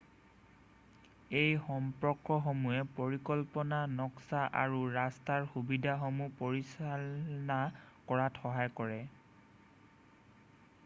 এই সম্পৰ্কসমূহে পৰিকল্পনা নক্সা আৰু ৰাস্তাৰ সুবিধাসমূহ পৰিচালনা কৰাত সহায় কৰে